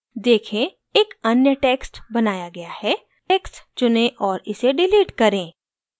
देखें एक अन्य text बनाया गया है text चुनें और इसे डिलीट करें